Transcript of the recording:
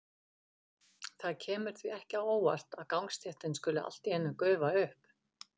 Það kemur því ekki á óvart að gangstéttin skuli allt í einu gufa upp.